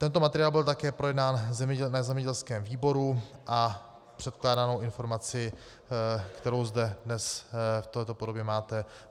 Tento materiál byl také projednán na zemědělském výboru a předkládanou informaci, kterou zde dnes v této podobě máte.